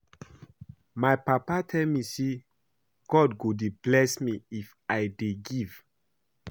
My papa tell me say God go dey bless me if I dey give